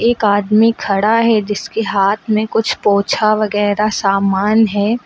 एक आदमी खड़ा है जिसके हाथ में कुछ पोछा वगैरा सामान है।